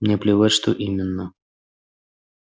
мне плевать что именно